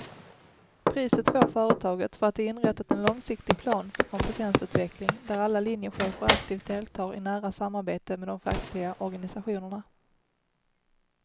Priset får företaget för att det inrättat en långsiktig plan för kompetensutveckling där alla linjechefer aktivt deltar i nära samarbete med de fackliga organisationerna.